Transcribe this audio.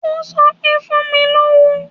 Ó sọ pé, Fún mi lówó.